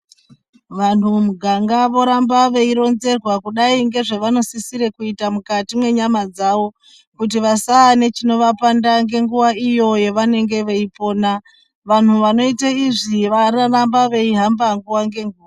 Vantu mumuganga voramba veironzerwa kudai ngezvavanosisire kuite mukati mwenyama dzavo kuti vasava nechinovapanda ngenguva iyo yevanenge veipona, vantu vanoite izvi varamba veihamba nguwa ngenguwa.